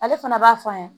Ale fana b'a fɔ an ɲe